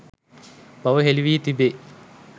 බව හෙළි වී තිබේ.